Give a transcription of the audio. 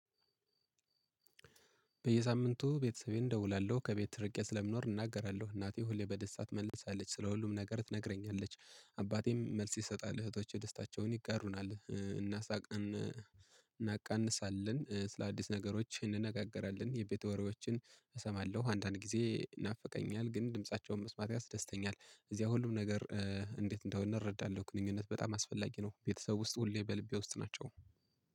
በየሳምንቱ ቤተሰቤን እደውላለሁ ከቤት ትርቄ ስለምኖር እናገራለሁ እናቴ ሁሌ በደስታ ትመልሳለች ስለ ሁሉም ነገር ትነግረኛለች። አባቴም መልስ ይሰጣል እህቶቼ ደስታቸውን ይጋሩናል እናሳቅን እናቀንሳለን ስለ አዲስ ነገሮች እንነጋገራለን። የቤት ወሮዎችን እሰማለሁ አንዳንድ ጊዜ ይናፈቀኛል ግን ድምፃቸውን መስማት ያስደስተኛል። እዚያ ሁሉም ነገር እንዴት እንደሆነ እረዳለሁ ግንኙነት በጣም አስፈላጊ ነው። ቤተሰብ ውስጥ ሁሌ በልቤ ውስጥ ናቸው።